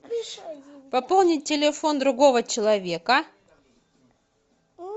пополнить телефон другого человека